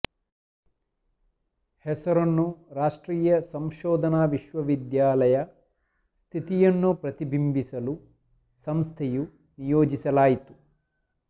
ಹೆಸರನ್ನು ರಾಷ್ಟ್ರೀಯ ಸಂಶೋಧನಾ ವಿಶ್ವವಿದ್ಯಾಲಯ ಸ್ಥಿತಿಯನ್ನು ಪ್ರತಿಬಿಂಬಿಸಲು ಸಂಸ್ಥೆಯು ನಿಯೋಜಿಸಲಾಯಿತು